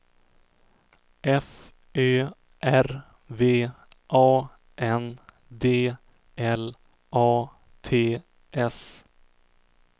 F Ö R V A N D L A T S